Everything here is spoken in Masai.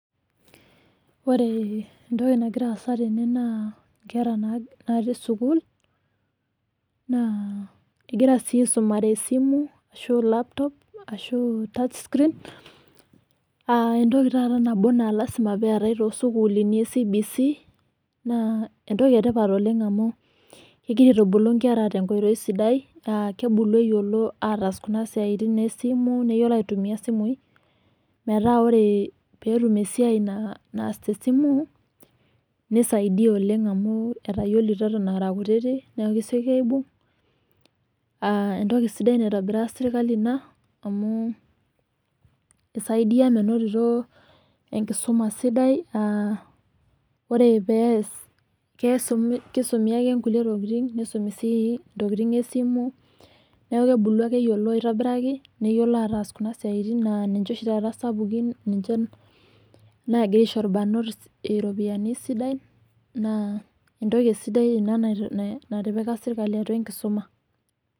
Ore etoki nagira aasa tene naa inkera natii sukuul, naa egira sii aisumare esimu ashu laptop ashu touch screen ah etoki taata nambo naa lasima pee eetae toosukuulini e CBC naa, etoki etipat oleng amu egira aitubulu nkera te nkoitoi sidai ah kebulu eyiolo ataas kuna siaitin esimu. Neyiolo aitumia isimui metaa ore pee etum esiai naas te simu nisaidia oleng amu, etayiolito eton ah kutiti nesioki aibunga. Ah etoki sidai naitobira sirkali ina amu, eisaidia menotito enkisuma sidai, ah ore pees kisumi ake kulie tokitin nisumi sii tokitin esimu, neaku kebulu ake eyiolo aitobiraki neyiolo aatas kuna siaitin naa, ninche oshi taata isapukin nagira aisho irbanot iropiyani sidan naa, etoki sidai ina natipika sirkali atua enkisuma.